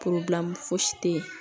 fosi tɛ yen